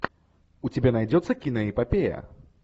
у тебя найдется киноэпопея